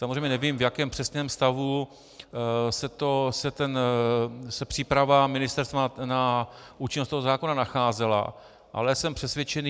Samozřejmě nevím, v jakém přesném stavu se příprava ministerstva na účinnost toho zákona nacházela, ale jsem přesvědčený...